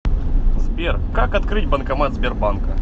сбер как открыть банкомат сбербанка